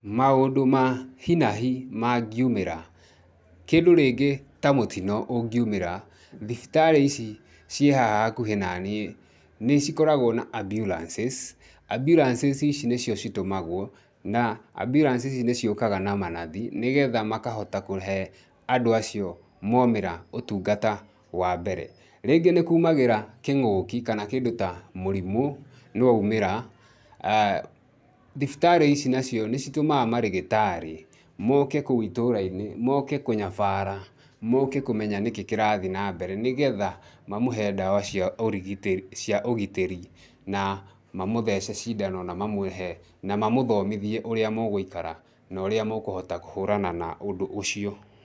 Maũndũ ma hinahi mangĩumĩra kĩndũ rĩngĩ ta mũtino ũngĩumĩra thibitarĩ ici ciĩ haha hakuhĩ naniĩ nĩ cikoragwo na Ambulances. Ambulances, ici nĩcio citũmagwo na Ambulances ici nĩciũkaga na manathi nĩgetha makohota kũhe andũ acio maumĩra ũtungata wa mbere. Rĩngĩ nĩ kumagĩra kĩng'ũki kana kĩndũ ta mũrimũ nĩ waumĩra thibitarĩ ici nacio nĩcitũmaga marĩgĩtarĩ moke kũu itũra-inĩ, moke kũnyabara , moke kũmenya nĩkĩ kĩrathiĩĩ na mbere, nĩ getha mamũhe ndawa cia ũrigitĩri, cia ũgitĩri na mamũthece cindano na mamũhe na mamũthomithie ũrĩa mũgũikara na ũrĩa mũkũhota kũhũrana na ũndũ ũcio